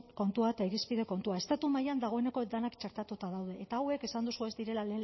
kontua eta irizpide kontua estatu mailan dagoeneko denak txertatuta daude eta hauek esan duzu ez direla